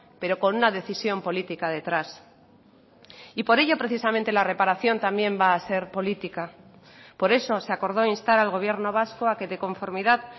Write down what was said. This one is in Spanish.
pero con una decisión política detrás y por ello precisamente la reparación también va a ser política por eso se acordó instar al gobierno vasco a que de conformidad